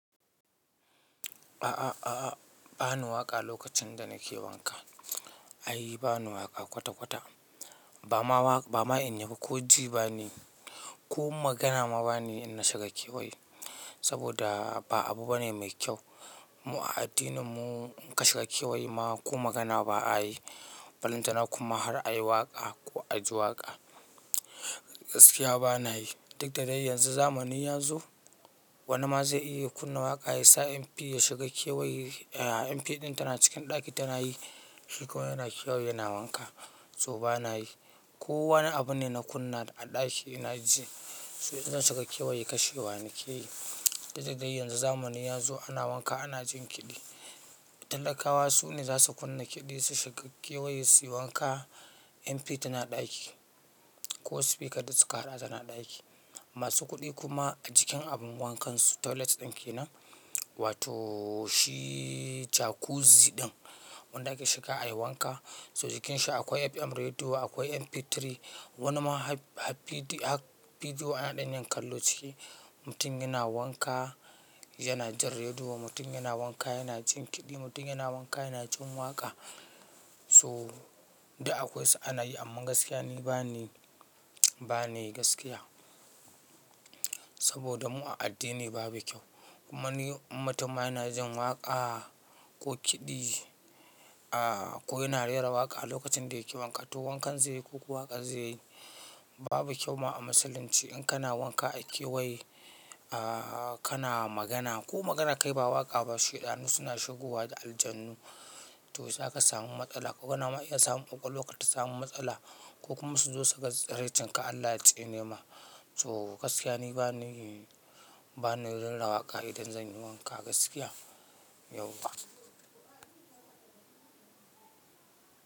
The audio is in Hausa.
A'a, a'a, ba ni waƙa lokacin da nake wanka. Ai ba ni waƙa kwata-kwata. Ba ma in yiba ko ji ba niyi ko magana ma ba niyi ina shiga kewaye. Saboda ba abu bane mai kyau. Mu a addinin mu in ka shiga kewaye ma ko magana ba a yi. Ballantana kuma har a yi waƙa ko a ji waƙa gaskiya ba na yi. Duk da dai yanzu zamanin yazo wani ma zai iya kunna waƙa yasa MP ya shiga kewaye. MP ɗin tana cikin ɗaki tana yi, shi kuma yana kewaye yana wanka. To ba na yi. Ko wani abu ne na kunna a ɗaki ina ji sai na shiga kewaye kashewa nake yi. Duk da Dai yanzu zamanin yazo ana wanka ana jin kiɗi. Talakawa su ne za su kunna kiɗi su shiga kewaye su yi wanka. MP tana ɗaki ko speaker da suka haɗa tana ɗaki. Masu kuɗi kuma a cikin abin wankansu toilet ɗin ke nan, wato shi jakuzzi ɗin wanda ake shiga ayi wanka. To jikin shi akwai FM rediyo, akwai MP3. Wani ma har video ana ɗanyin kallo ciki. Mutum yana wanka yana jin rediyo. Mutum yana wanka yana jin kiɗi. Mutum yana wanka yana jin waƙa. So da akwai su ana yi amma gaskiya ni ba niyi, ba na yi gaskiya. Saboda mu a addini babu kyau. Kuma ni mutum ina jin waƙa ko kiɗi a ko yana rera waƙa a lokacin da yake wanka. To wankan zai yi ko kuwa waƙa zai yi. Babu kyau ma a musulunci in kana wanka a kewaye ah kana magana ko magana kai ba waƙa ba. Shaiɗanu suna shigowa da aljanu. To zaka samu matsala ko na ma iya samu. Kwakwalwarka ta samu matsala ko kuma su zo su ga tsiraicinka Allah ya tsine ma. So gaskiya ni ba na yi, ba na yin rera waƙa idan zan yi wanka gaskiya yauwa.